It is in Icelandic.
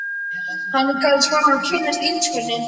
Hann skal fá að kynnast illskunni.